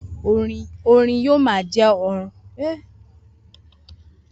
Orin yoo ma jẹ ọna aworan nigbagbogbo.